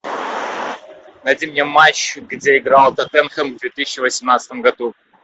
найди мне матч где играл тоттенхэм в две тысячи восемнадцатом году